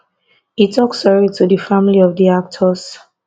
e tok sorry to di family of di actors